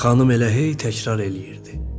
Xanım elə hey təkrar eləyirdi: